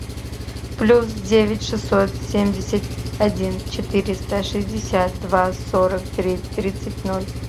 плюс девять шестьсот семьдесят один четыреста шестьдесят два сорок три тридцать ноль